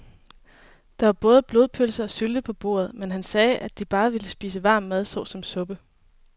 Der var både blodpølse og sylte på bordet, men han sagde, at han bare ville spise varm mad såsom suppe.